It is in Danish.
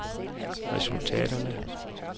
resultaterne